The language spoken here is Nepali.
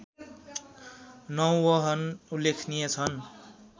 नौवहन उल्लेखनीय छन्